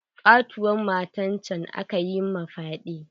Ƙatuwar matan can aka yi ma fyaɗe.